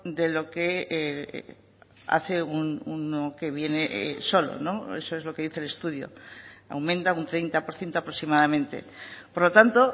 de lo que hace uno que viene solo eso es lo que dice el estudio aumenta un treinta por ciento aproximadamente por lo tanto